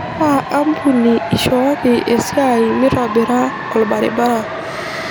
kaa ampuni ishooki esia mitobira olbaribara